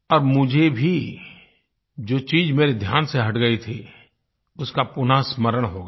अब मुझे भी जो चीज़ मेरे ध्यान से हट गई थी उसका पुनः स्मरण हो गया